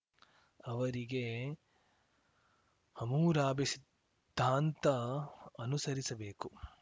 ಅವರಿಗೆ ಹಮೂರಾಭಿ ಸಿದ್ಧಾಂತ ಅನುಸರಿಸಬೇಕು